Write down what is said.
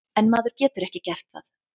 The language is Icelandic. En maður getur ekki gert það.